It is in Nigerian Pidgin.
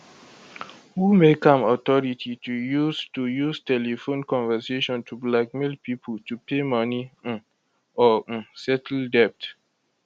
who make am authority to use to use telephone conversation to blackmail pipo to pay money um or um settle debt